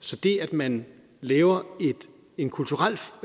så det at man laver en kulturel